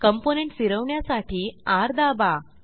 component फिरवण्यासाठी र दाबा